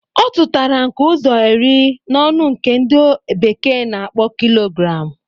Ọ tụtara nke ụzọ iri na ọnụ nke ndi bekee na-akpọ kilogram